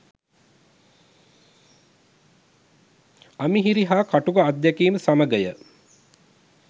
අමිහිරි හා කටුක අත්දැකීම් සමගය